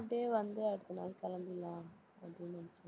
அப்படியே வந்து அடுத்த நாள் கிளம்பிடலாம் அப்படின்னு நினைச்சேன்